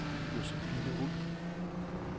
Josephine Wulff